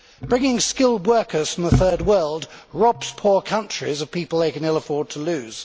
Bringing skilled workers from the Third World robs poor countries of people they can ill afford to lose.